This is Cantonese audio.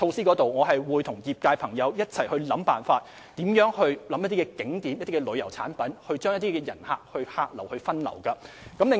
我們會與業界朋友一起想辦法，推出一些景點旅遊產品將遊客分流。